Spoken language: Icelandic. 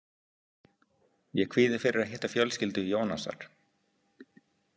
Ég kvíði fyrir að hitta fjölskyldu Ionasar.